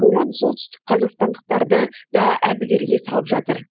боран солтүстік қазақстандықтарды да әбігерге салып жатыр